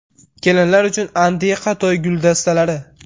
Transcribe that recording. Kelinlar uchun antiqa to‘y guldastalari .